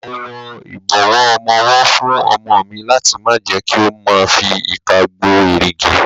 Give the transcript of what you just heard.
Mo wọ ìbọ̀wọ́ ọmọwọ́ fún ọmọ mi láti má jẹ kí ó ma fi ìka gbo èrìgì.